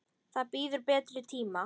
Það bíður betri tíma.